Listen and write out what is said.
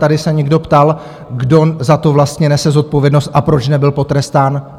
Tady se někdo ptal, kdo za to vlastně nese zodpovědnost a proč nebyl potrestán.